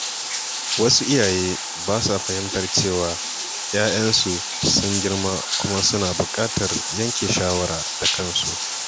Wasu iyaye ba sa fahimtar cewa ‘ya‘yansu sun girma kuma suna buƙatar yanke shawara da kansu.